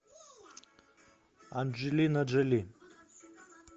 анджелина джоли